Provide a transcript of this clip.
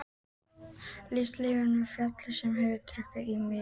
Líkist leifum af fjalli sem hefur drukknað í mýrinni.